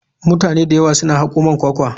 Mutane da yawa suna hako man kwakwa.